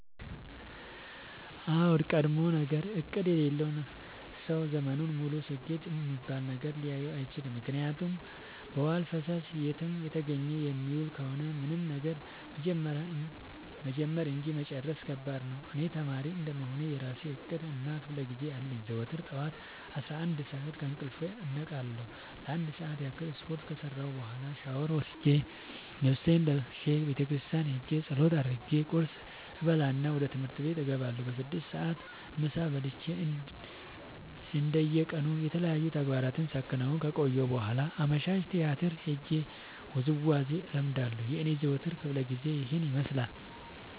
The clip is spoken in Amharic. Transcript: አዎድ ቀድሞነገር እቅድ የሌለው ሰው ዘመኑን ሙሉ ስኬት እሚባል ነገር ሊኖረው አይችልም። ምክንያቱም በዋልፈሰስ የትም እንደተገኘ የሚውል ከሆነ ምንም ነገር መጀመር እንጂ መጨረስ ከባድ ነው። እኔ ተማሪ እንደመሆኔ የእራሴ እቅድ እና ክፋለጊዜ አለኝ። ዘወትር ጠዋት አስራአንድ ሰዓት ከእንቅልፌ እነቃለሁ ለአንድ ሰዓት ያክል ስፓርት ከሰራሁኝ በኋላ ሻውር ወስጄ ልብሴን ለባብሼ ቤተክርስቲያን ኸጄ ፀሎት አድርሼ ቁርስ እበላና ወደ ትምህርት እገባለሁ። በስድስት ሰዓት ምሳ በልቼ እንደ የቀኑ የተለያዩ ተግባራትን ሳከናውን ከቆየሁ በኋላ አመሻሽ ቲያትር ሄጄ ውዝዋዜ እለምዳለሁ የኔ የዘወትር ክፍለጊዜ ይኸን ይመስላል።